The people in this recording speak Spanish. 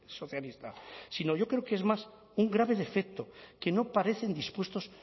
socialista sino yo creo que es más un grave defecto que no parecen dispuestos